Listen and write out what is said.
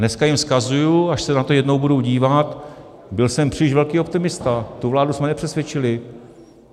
Dneska jim vzkazuji, až se na to jednou budou dívat: byl jsem příliš velký optimista, tu vládu jsme nepřesvědčili.